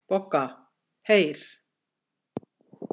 BOGGA: Heyr!